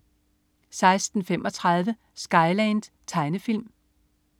16.35 Skyland. Tegnefilm